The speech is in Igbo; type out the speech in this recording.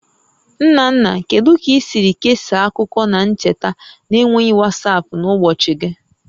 Nna nna, kedu ka i siri kesaa akụkọ na ncheta na-enweghị WhatsApp n'ụbọchị gị?